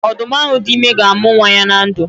Odu m ahu di ime ga-amu nwa ya na ndu.